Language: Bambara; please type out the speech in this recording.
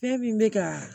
Fɛn min bɛ ka